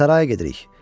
Saraya gedirik.